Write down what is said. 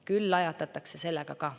Küll lajatatakse sellega ka.